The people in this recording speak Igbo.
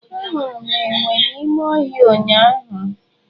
Ahụrụ m enwe n'ime ọhịa ụnyahụ.